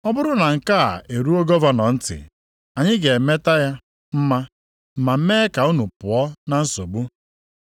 Ọ bụrụ na nke a eruo gọvanọ ntị, anyị ga-emeta ya mma, ma mee ka unu pụọ na nsogbu.”